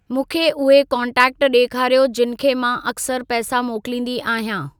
मूंखे उहे कोन्टेक्ट ॾेखारियो जिन खे मां अक्सर पैसा मोकलींदी आहियां।